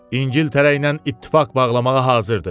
İngiltərə ilə ittifaq bağlamağa hazırdı.